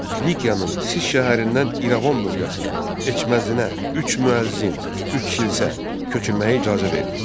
Klikyanın Sis şəhərindən İrəvan bölgəsinə, Eçməzinə üç müəzzin, üç kilsə köçürməyə icazə verdi.